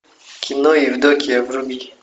кино евдокия вруби